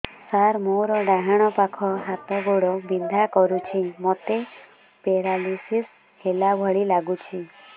ସାର ମୋର ଡାହାଣ ପାଖ ହାତ ଗୋଡ଼ ବିନ୍ଧା କରୁଛି ମୋତେ ପେରାଲିଶିଶ ହେଲା ଭଳି ଲାଗୁଛି